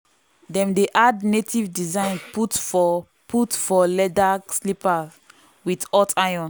dem dey add native design put for put for leather slipper with hot iron.